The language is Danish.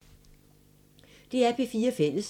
DR P4 Fælles